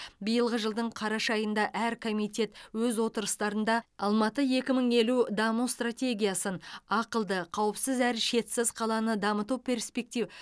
биылғы жылдың қараша айында әр комитет өз отырыстарында алматы екі мың елу даму стратегиясын ақылды қауіпсіз әрі шетсіз қаланы дамыту перспектив